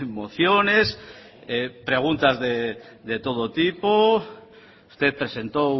mociones preguntas de todo tipo usted presentó